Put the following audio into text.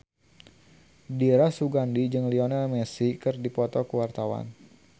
Dira Sugandi jeung Lionel Messi keur dipoto ku wartawan